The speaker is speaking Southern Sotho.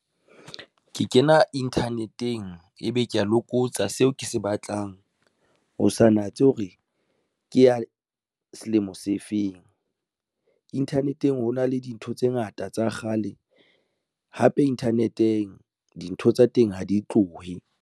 Ke kena internet-eng ebe ke ya lokotsa seo ke se batlang, ho sa natse hore ke ya selemo se feng. Internet-eng ho na le dintho tse ngata tsa kgale hape internet-eng dintho tsa teng ha di tlohe.